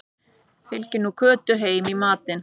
Fylgið þið nú Kötu heim í matinn